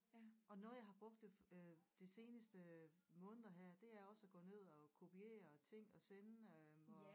Og noget jeg har brugt øh de seneste måneder her det er også at gå ned og kopiere ting og sende dem og